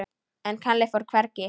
En Kalli fór hvergi.